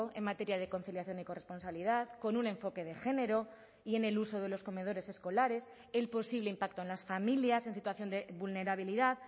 en materia de conciliación y corresponsabilidad con un enfoque de género y en el uso de los comedores escolares el posible impacto en las familias en situación de vulnerabilidad